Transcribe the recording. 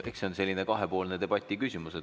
Eks see on selline kahepoolse debati küsimus.